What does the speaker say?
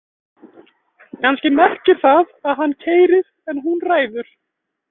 Kannski merkir það: hann keyrir en hún ræður.